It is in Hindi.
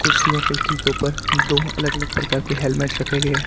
कुर्सियों के ठीक ऊपर दो अलग अलग प्रकार के हेलमेट रखे गए हैं।